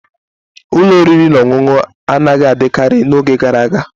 Ụlọ oriri na ọṅụṅụ anaghị adịkarị n'oge gara aga.